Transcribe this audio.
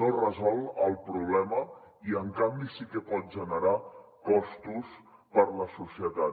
no resol el problema i en canvi sí que pot generar costos per a la societat